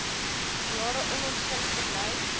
jare onontgin gebly